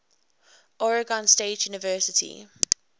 oregon state university